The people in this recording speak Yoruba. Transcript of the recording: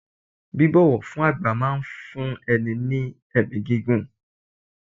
Bíbọ̀wọ̀ fún àgbà máa fún ẹ ní ẹ̀mí gígùn.